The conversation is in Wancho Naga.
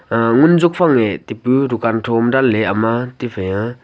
uh ngun jok fange tepu dukan thoma danley ama tephai a.